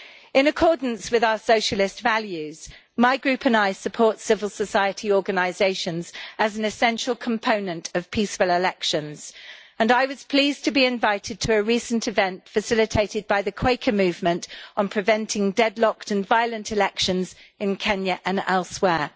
In accordance with our Socialist values my group and I support civil society organisations as an essential component of peaceful elections, and I was pleased to be invited to a recent event facilitated by the Quaker Movement on preventing deadlocked and violent elections in Kenya and elsewhere.